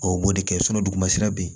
O b'o de kɛ dugu ma sira be yen